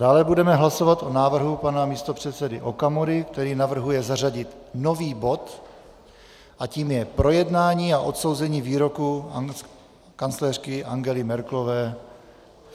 Dále budeme hlasovat o návrhu pana místopředsedy Okamury, který navrhuje zařadit nový bod a tím je projednání a odsouzení výroku kancléřky Angely Merkelové.